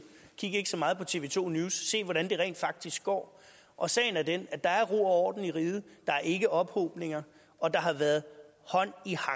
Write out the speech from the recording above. kig ikke så meget på tv to news se hvordan det rent faktisk går og sagen er den at der er ro og orden i riget der er ikke ophobninger og der har været hånd i